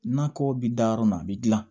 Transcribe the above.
Nakɔ bɛ da yɔrɔ min a bɛ dilan